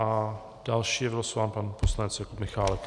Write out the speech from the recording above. A další je vylosován pan poslanec Jakub Michálek.